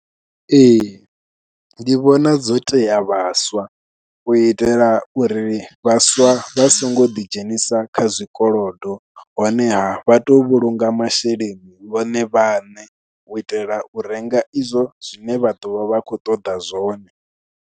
Ee, ndi vhona dzo tea vhaswa, u itela uri vhaswa vha songo ḓi dzhenisa kha zwikolodo. Honeha vha to vhulunga masheleni vhone vhaṋe, u itela u renga izwo zwine vha ḓovha vha khou ṱoḓa zwone.